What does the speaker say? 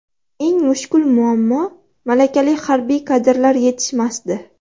Eng mushkul muammo malakali harbiy kadrlar yetishmasdi.